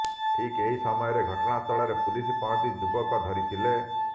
ଠିକ୍ ଏହି ସମୟରେ ଘଟଣାସ୍ଥଳରେ ପୁଲିସ ପହଞ୍ଚି ଯୁବକ ଧରିଥିଲେ